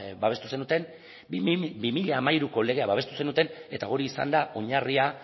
babestu zenuten bi mila hamairuko legea babestu zenuten eta hori izan da oinarria